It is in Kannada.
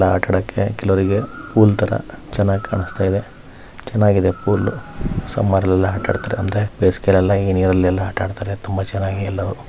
ಆಟ ಆಡೋಕೆ ಹುಲ್ಲು ತರ ಚನ್ನಾಗಿ ಕಾಣಸ್ತಿದೆ ಚೆನ್ನಗಿದೆ ಫುಲ್ ಸಾಮರ್ ಅಲ್ಲಿ ಆತ ಆಡತಾರೆ ಅಂದರೆ ಬೇಸಿಗೇಲಿ ಎಲ್ಲ ನೀರಲ್ಲಿ ಆತ ಆಡತಾರೆ.